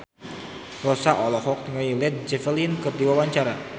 Rossa olohok ningali Led Zeppelin keur diwawancara